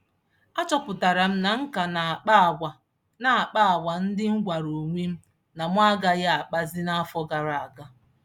Achọpụtaram na m ka n'akpa àgwà n'akpa àgwà ndị m gwàrà onwem na mụ agaghị àkpàzi n'afọ gara aga.